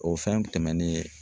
O fɛn tɛmɛnen